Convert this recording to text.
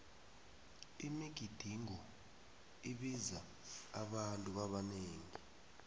imigidingo ibiza abantu abanengi